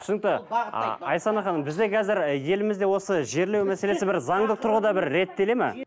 түсінікті айсана ханым бізде қазір елімізде осы жерлеу мәселесі бір заңды тұрғыда бір реттеледі ме